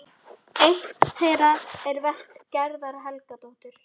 Hún var bersýnilega mjög útundir sig í hagnýtum efnum.